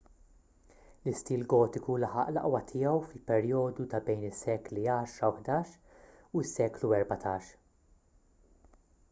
l-istil gotiku laħaq l-aqwa tiegħu fil-perjodu ta' bejn is-sekli 10 - 11 u s-seklu 14